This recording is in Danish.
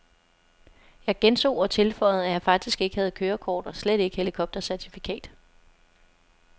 Jeg gentog og tilføjede, at jeg faktisk ikke havde kørekort og slet ikke helikoptercertifikat.